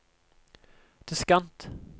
diskant